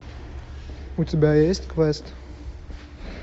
у тебя есть квест